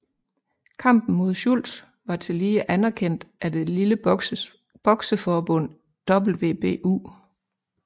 Kampen mod Schultz var tillige anerkendt af det lille bokseforbund WBU